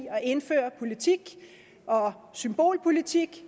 en symbolpolitik